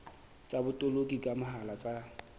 tsa botoloki ka mohala tsa